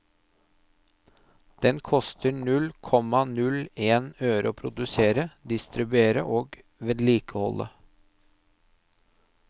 Den koster null komma null en øre å produsere, distribuere og vedlikeholde.